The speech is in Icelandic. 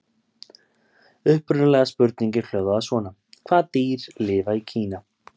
Upprunalega spurningin hljóðaði svona: Hvaða dýr lifa í Kína?